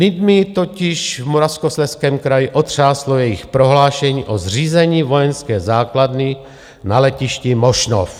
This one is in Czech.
Lidmi totiž v Moravskoslezském kraji otřáslo jejich prohlášení o zřízení vojenské základny na letišti Mošnov.